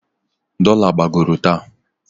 Dola gbagoro taa.